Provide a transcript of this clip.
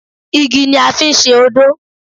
Igi ni a fi ń ṣe odó